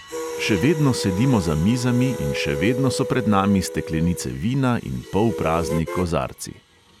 Še vedno sedimo za mizami in še vedno so pred nami steklenice vina in polprazni kozarci.